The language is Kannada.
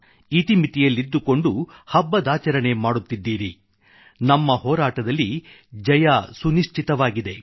ಇತಿಮಿತಿಯಲ್ಲಿದ್ದುಕೊಂಡು ಹಬ್ಬದಾಚರಣೆ ಮಾಡುತ್ತಿದ್ದೀರಿ ನಮ್ಮ ಹೋರಾಟದಲ್ಲಿ ಜಯ ಸುನಿಶ್ಚಿತವಾಗಿದೆ